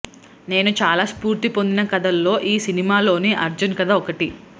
నేను చాలా స్పూర్తి పొందిన కథల్లో ఈ సినిమాలోని అర్జున్ కథ ఒకటి